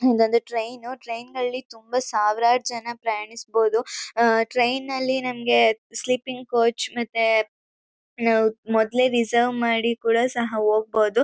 ಇನ್ನೊಂದು train train ನಲ್ಲಿ ತುಂಬ ಸಾವಿರಾರು ಜನ ಪ್ರಯಾಣಿಸ್ಬೋದು ಟ್ರೈನ್ ನಲ್ಲಿ ನಮ್ಗೆ ಸ್ಲೀಪಿಂಗ್ ಕೋಚ್ ಮತ್ತೆ ಮೊದ್ಲೆ ರಿಸರ್ವ್ ಮಾಡಿ ಕೂಡ ಸಹ ಹೋಗ್ಬೋದು.